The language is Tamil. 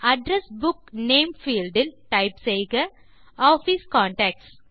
அட்ரெஸ் புக் நேம் பீல்ட் இல் டைப் செய்க ஆஃபிஸ் கான்டாக்ட்ஸ்